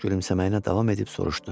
Gülümsəməyinə davam edib soruştu.